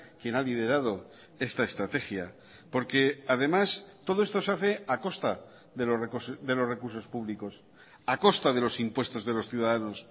quien ha liderado esta estrategia porque además todo esto se hace a costa de los recursos públicos a costa de los impuestos de los ciudadanos